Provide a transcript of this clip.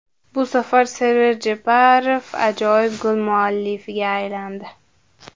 Bu safar Server Jeparov ajoyib gol muallifiga aylandi.